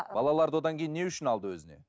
балаларды одан кейін не үшін алды өзіне